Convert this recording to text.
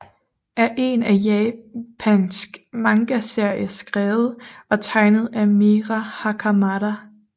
er en japansk mangaserie skrevet og tegnet af Mera Hakamada